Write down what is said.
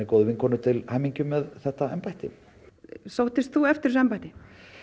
góðri vinkonu til hamingju með þetta embætti sóttist þú eftir þessu embætti